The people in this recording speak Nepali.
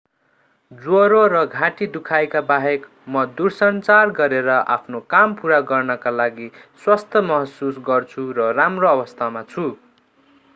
ज्वरो र घाँटी दुखाइका बाहेक म दूरसञ्चार गरेर आफ्नो काम पूरा गर्नका लागि स्वस्थ महसुस गर्छु र राम्रो अवस्थामा छु